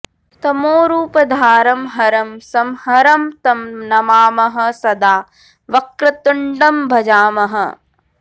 तमोरूपधारं हरं संहरं तं नमामः सदा वक्रतुण्डं भजामः